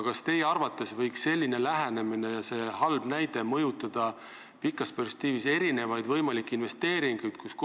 Kas teie arvates võiks selline lähenemine ja see halb näide pikas perspektiivis mõjutada võimalikke investeeringuid?